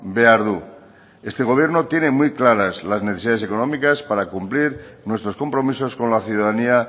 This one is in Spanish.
behar du este gobierno tiene muy claras las necesidades económicas para cumplir nuestros compromisos con la ciudadanía